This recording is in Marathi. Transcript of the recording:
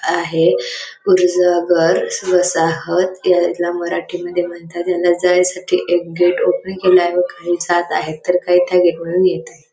आहे घर वसाहत यायला मराठीमध्ये म्हणतात याला जायसाठी एक गेट ओपनिंग केलेल आहे व काही जात आहेत तर काही त्या गेट मधून येत आहे.